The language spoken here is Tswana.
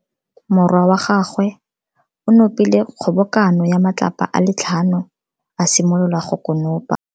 Morwa wa gagwe o nopile kgobokano ya matlapa a le tlhano, a simolola go konopa.